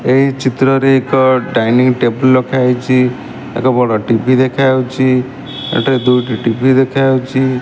ଏହି ଚିତ୍ରରେ ଏକ ଡାଇନିଂ ଟେବୁଲ୍ ରଖା ହେଇଚି। ଏକ ବଡ଼ ଟି_ଭି ଦେଖା ହୋଉଚି। ଏଠାରେ ଦୁଇଟି ଟି_ଭି ଦେଖା ହୋଉଚି।